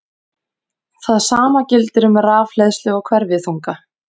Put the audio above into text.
Það sama gildir um rafhleðslu og hverfiþunga.